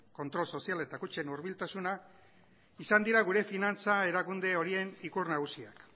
kontrol soziala eta kutxen hurbiltasuna izan dira gure finantza erakunde horien ikur nagusiak